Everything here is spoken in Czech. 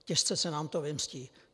Těžce se nám to vymstí.